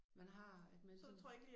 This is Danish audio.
Man har at man sådan